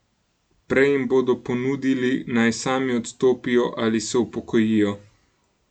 Prej jim bodo ponudili, naj sami odstopijo ali se upokojijo.